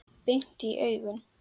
Beint í augun.